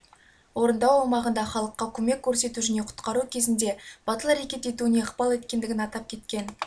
орындау аумағында халыққа көмек көрсету және құтқару кезінде батыл әрекет етуіне ықпал еткендігін атап кеткен